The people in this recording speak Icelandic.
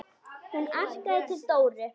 Hún arkaði til Dóru.